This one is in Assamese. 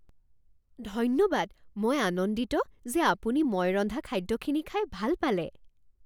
ধন্যবাদ! মই আনন্দিত যে আপুনি মই ৰন্ধা খাদ্যখিনি খাই ভাল পালে